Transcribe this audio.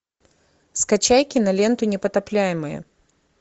скачай киноленту непотопляемые